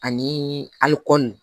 Ani alikɔni